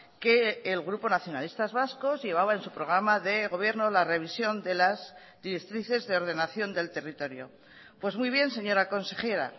que el grupo nacionalistas vascos llevaba en su programa de gobierno la revisión de las directrices de ordenación del territorio pues muy bien señora consejera